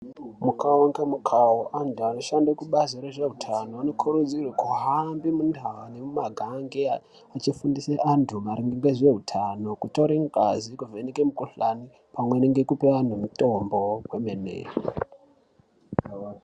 Mukawu ngemukawu antu anoshande kubazi rezveutano anokurudzirwe kuhambe mundaa nemumakange aya achifundise antu maringe ngezveutano, kutore ngazi nekuvheneke mukuhlani pamweni ngekupe antu mitombo kwemene.